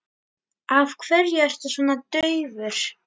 Af hverju ertu svona daufur?